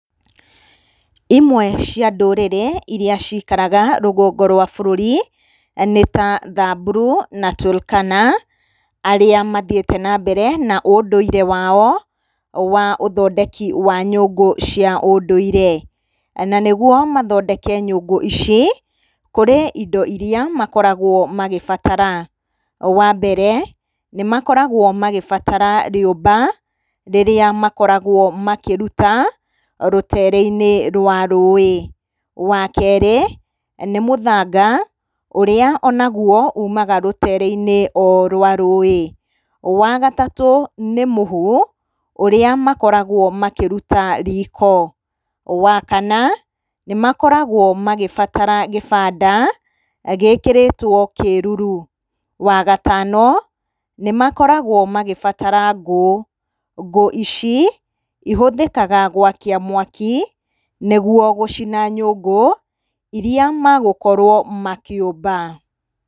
Imwe cia ndũrĩrĩ iria ciikaraga rũgongo rwa bũrũri nĩ ta Thamburu na Turkana, arĩa mathiĩte nambere na ũndũire wao wa ũthondeki wa nyũngũ cia ũndũire. Na nĩguo mathondeke nyũngũ ici, kũrĩ indo iria makoragwo magĩbatara. Wa mbere, nĩ makoragwo magibatara rĩũmba, rĩrĩa makoragwo makĩruta rũteere-inĩ rwa rũĩ. Wa kerĩ, nĩ mũthanga ũrĩa o naguo uumaga rũteere-inĩ o rwa rũĩ. Wa gatatũ, nĩ mũhu, ũrĩa makoragwo makĩruta riiko. Wa kana, nĩ makoragwo magĩbatara gĩbanda gĩĩkĩrĩtwo kĩĩruru. Wa gatano, nĩ makoragwo magĩbatara ngũ, ngũ ici ĩhũthĩkaga gwakia mwaki nĩguo gũcina nyũngũ iria magũkorwo makĩũmba.